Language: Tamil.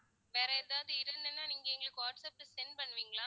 வேற எதாவது இருந்ததுன்னா நீங்க எங்களுக்கு வாட்ஸ்ஆப்ல send பண்ணுவீங்களா